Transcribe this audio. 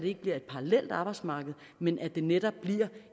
ikke bliver et parallelt arbejdsmarked men at det netop bliver